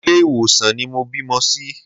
Ilé ìwòsàn ni mo bímọ sí.